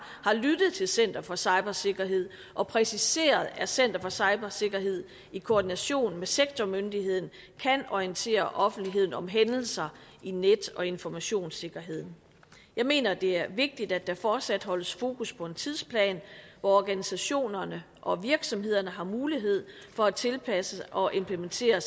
har lyttet til center for cybersikkerhed og præciseret at center for cybersikkerhed i koordination med sektormyndigheden kan orientere offentligheden om hændelser i net og informationssikkerheden jeg mener at det er vigtigt at der fortsat holdes fokus på en tidsplan hvor organisationerne og virksomhederne har mulighed for at tilpasse sig og implementere